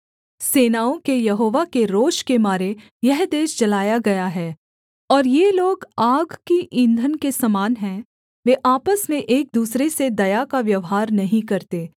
सेनाओं के यहोवा के रोष के मारे यह देश जलाया गया है और ये लोग आग की ईंधन के समान हैं वे आपस में एक दूसरे से दया का व्यवहार नहीं करते